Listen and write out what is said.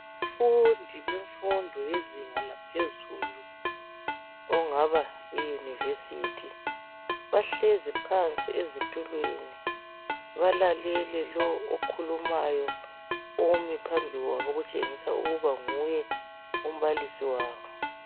Abafundi bemfundo yezinga laphezulu okungaba yiUniversity bahlezi phansi ezitulweni balalele lowo okhulumayo omi phambili kwabo okutshengisa ukuba nguye umbalisi wabo.